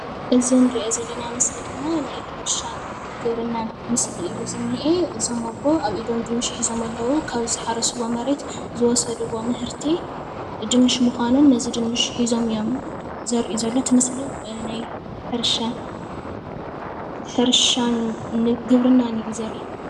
እዚ እንርእዮ ዘለና ምስሊ ድማ ናይ ሕርሻን ግብርናን ምስሊ እዩ ዝንኤ እዞም ኣቦ ኣብ ኢዶም ድንሽ ሒዞም ኣለዉ ካብ ዝሓረስዎ መሬት ዝወሰድዎ ምህርቲ ድንሽ ምካኑ ነቲ ድንሽ ሒዞም እዮም ዘርእዩ ዘለዉ እቲ ምስሊ ናይ ሕርሻ ግብርናን እዩ ዘርኢ።